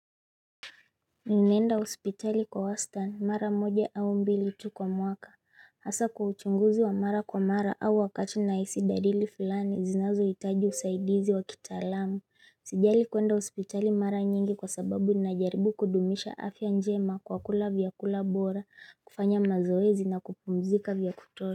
Nimeenda hospitali kwa wastani mara moja au mbili tu kwa mwaka Hasa kwa uchunguzi wa mara kwa mara au wakati nahisi dalili fulani zinazohitaji usaidizi wa kitaalamu Sijali kuenda hospitali mara nyingi kwa sababu ninajaribu kudumisha afya njema kwa kula vyakula bora kufanya mazoezi na kupumzika vya kutosha.